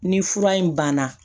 Ni fura in banna